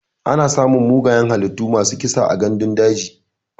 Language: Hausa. Ana samun mugayen halittu masu kisa a gandun daji.